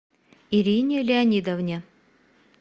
ирине леонидовне